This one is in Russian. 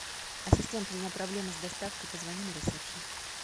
ассистент у меня проблемы с доставкой позвони на ресепшен